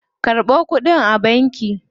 Karɓo kuɗin a banki.